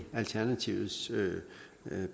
alternativets